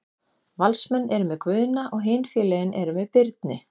Valsmenn eru með Guðna og hin félögin eru með Birni.